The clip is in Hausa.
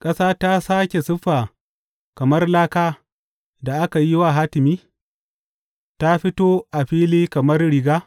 Ƙasa ta sāke siffa kamar laka da aka yi wa hatimi; ta fito a fili kamar riga.